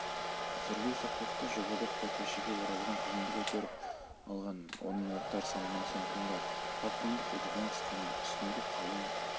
сүрлеу соқпақты жобалап көрпешеге оралған қызымды көтеріп алғанмын оның заттары салынған сөмкем бар папкамды қолтығыма қысқанмын үстімде қалың